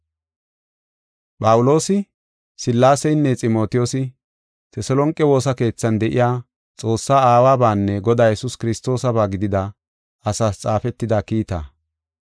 Phawuloosi, Sillaaseynne Ximotiyoosi Teselonqe woosa keethan de7iya, Xoossaa Aawabanne Godaa Yesuus Kiristoosaba gidida asaas xaafetida kiita.